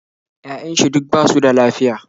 Ya'yan shi duk basu da lafiya